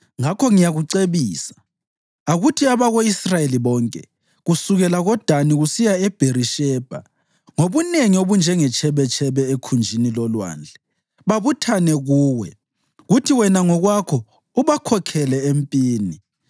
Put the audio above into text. Ngakho ngiyakucebisa: Akuthi abako-Israyeli bonke, kusukela koDani kusiya eBherishebha, ngobunengi obunjengetshebetshebe ekhunjini lolwandle, babuthane kuwe, kuthi wena ngokwakho ubakhokhele empini.